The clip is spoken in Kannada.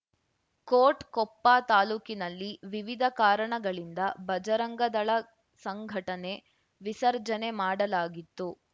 ಕೋಟ್‌ ಕೊಪ್ಪ ತಾಲೂಕಿನಲ್ಲಿ ವಿವಿಧ ಕಾರಣಗಳಿಂದ ಬಜರಂಗದಳ ಸಂಘಟನೆ ವಿಸರ್ಜನೆ ಮಾಡಲಾಗಿತ್ತು